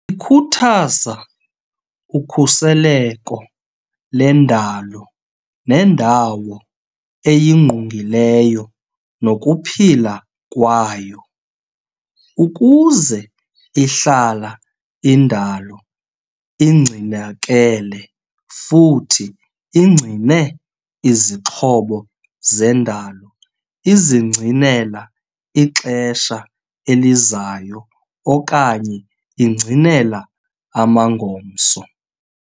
Ikhuthaza ukhuseleko lendalo nendawo eyingqungileyo nokuphila kwayo, ukuze ihlala indalo ingcinakele futhi ingcine izixhobo zendalo izingcinela ixesha elizayo okanye ingcinela amangomso.